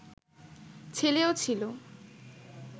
ছেলেও ছিল